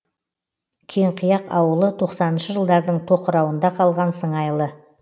кеңқияқ ауылы тоқсаныншы жылдардың тоқырауында қалған сыңайлы